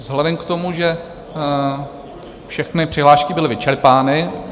Vzhledem k tomu, že všechny přihlášky byly vyčerpané...